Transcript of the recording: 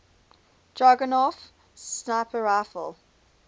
dragunov sniper rifle